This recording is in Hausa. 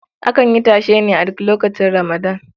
Akan yi tashe ne a duk lokacin Ramadan.